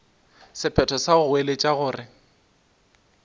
sephetho sa go goeletša gore